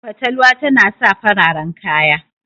fatalwa tana sa fararen kaya